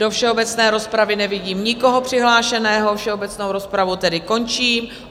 Do všeobecné rozpravy nevidím nikoho přihlášeného, všeobecnou rozpravu tedy končím.